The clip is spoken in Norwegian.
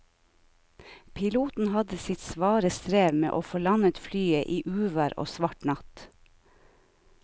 Piloten hadde sitt svare strev med å få landet flyet i uvær og svart natt.